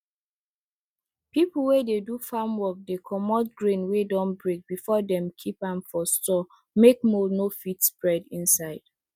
people wey dey do farm work dey comot grain wey don break before dem keep am for store make mould no fit spread inside